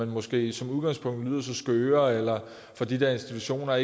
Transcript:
måske som udgangspunkt lyder skøre eller hvor de der institutioner